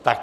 Tak.